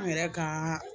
An yɛrɛ ka